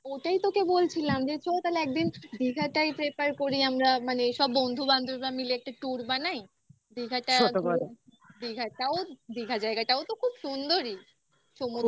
ওটাই তোকে বলছিলাম যে চ তাহলে একদিন দীঘাটাই prefer করি আমরা মানে সব বন্ধু বান্ধবরা মিলে একটা tour বানাই দীঘাটাও দীঘার জায়গাটাও তো খুব সুন্দরই